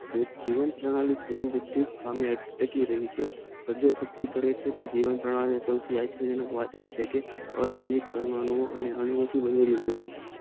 જીવન પનાલે સામે કરી રહી છે વધુ પડતુ કરે છે જીવન પાણાલી આ છે કે વધુ પડતું હોય છે